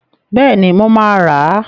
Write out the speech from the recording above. Bẹ́ẹ̀ni, mo máa rà.